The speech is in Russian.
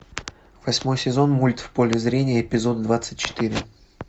восьмой сезон мульт в поле зрения эпизод двадцать четыре